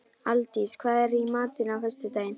Aldís, hvað er í matinn á föstudaginn?